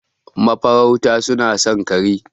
Mafarauta suna son kare.